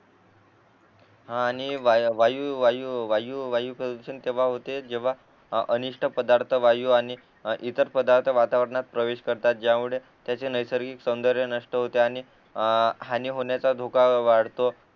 आणि वायू वायू प्रदूषण केव्हा होते जेव्हा अनिष्ट पदार्थ वायू आणि ईतर पदार्थ वातावरणात प्रवेश करतात ज्यामुळे त्याचे नैसर्गिक सौंदर्य नष्ट होते आणि हानी होण्याचा धोका वाढतो